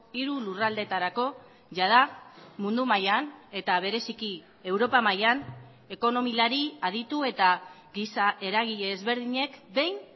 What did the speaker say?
hiru lurraldeetarako jada mundu mailan eta bereziki europa mailan ekonomilari aditu eta giza eragile ezberdinek behin